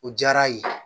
O diyara a ye